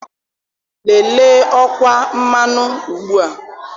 Lelee ọkwa mmanụ ugbu a.